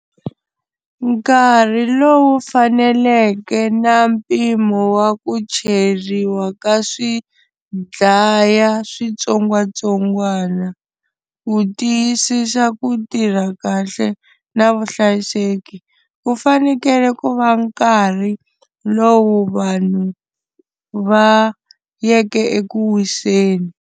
Nkarhi lowu faneleke na mpimo wa ku cheriwa ka swidlaya switsongwatsongwana, ku tiyisisa ku tirha kahle na vuhlayiseki ku fanekele ku va nkarhi lowu vanhu va yeke ekuwiseni.